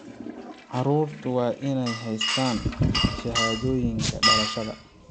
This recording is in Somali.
Carruurtu waa inay haystaan ??shahaadooyinka dhalashada.